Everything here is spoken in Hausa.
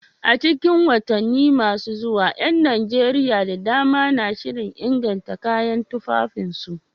A cikin watanni masu zuwa, ƴan Najeriya da dama na shirin inganta kayan tufafinsu.